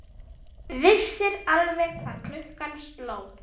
Vissir alveg hvað klukkan sló!